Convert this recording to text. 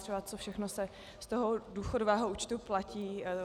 Třeba co všechno se z toho důchodového účtu platí.